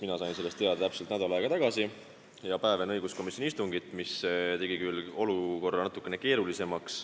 Mina sain sellest teada täpselt nädal aega tagasi ja päev enne õiguskomisjoni istungit, mis tegi olukorra natukene keeruliseks.